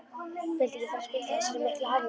Vildi ekki fara að spilla þessari miklu hamingju.